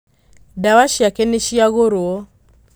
Ndawa ciake nĩciagũrwo